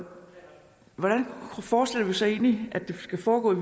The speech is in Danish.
hvordan forestiller vi os så egentlig at det skal foregå i